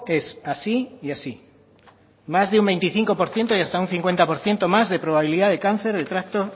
es así y así más de un veinticinco por ciento y hasta un cincuenta por ciento más de probabilidad de cáncer de tracto